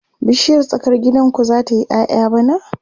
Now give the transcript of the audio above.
bishiyar tsakar gidan ku zata yi ƴaƴa bana?